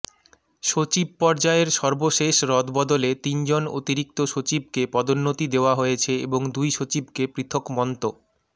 সচিব পর্যায়ের সর্বশেষ রদবদলে তিনজন অতিরিক্ত সচিবকে পদোন্নতি দেয়া হয়েছে এবং দুই সচিবকে পৃথক মন্ত